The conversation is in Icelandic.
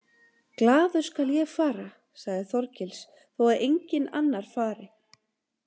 Glaður skal ég fara, sagði Þorgils, þó að enginn annar fari.